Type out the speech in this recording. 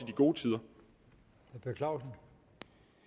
gode tider har orden